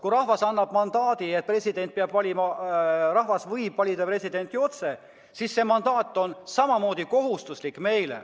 Kui rahvas otsustab, et presidenti peab valima rahvas, et ta võib valida presidenti otse, siis see on meile samamoodi kohustuslik.